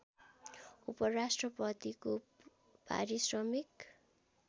उपराष्ट्रपतिको पारिश्रमिक